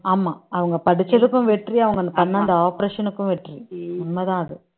ஆமா அவங்க படிச்சதுக்கும் வெற்றி அவங்க பண்ண அந்த operation க்கும் வெற்றி உண்மைதான் அது